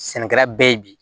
Sɛnɛkɛla bɛɛ ye bi